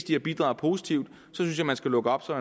de har bidraget positivt synes jeg man skal lukke op så